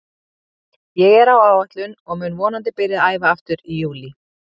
Ég er á áætlun og mun vonandi byrja að æfa aftur í júlí.